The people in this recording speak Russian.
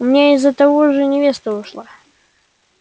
у меня из-за того же невеста ушла